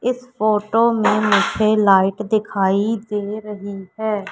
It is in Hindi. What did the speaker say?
इस फोटो में मुझे लाइट दिखाई दे रही है।